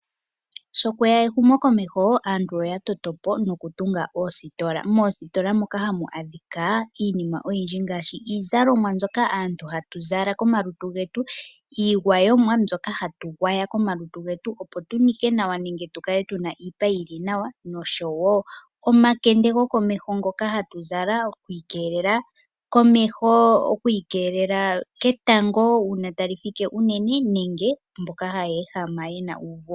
Sho kwe ya ehumokomeho aantu oya toto po nokutunga oositola. Moositola moka hamu adhika iinima oyindji ngaashi iizalomwa mbyoka aantu hatu zala komalutu getu, iigwayomwa mbyoka hatu gwaya komalutu getu, opo tu nike nawa nenge tu kale tu na iipa yi li nawa nosho wo omakende gokomeho ngoka hatu zala, oku ikeelele komeho oku ikeelela ketango uuna ta li fike unene, nenge mboka haya ehama ye na uuvu womeho.